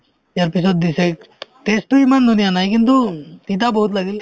ইয়াৰপিছত দিছে test তো ইমান ধুনীয়া নাই কিন্তু উম তিতা বহুত লাগিল